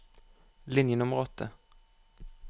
Linje nummer åtte